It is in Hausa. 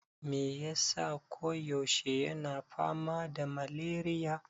Me yasa ko yaushe yana fama da maleriya?